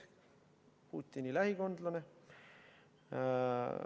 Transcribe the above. Ta on Putini lähikondlane.